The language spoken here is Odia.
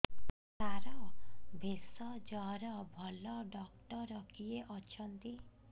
ସାର ଭେଷଜର ଭଲ ଡକ୍ଟର କିଏ ଅଛନ୍ତି